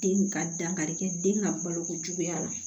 Den ka dankarikɛ den ka baloko juguya la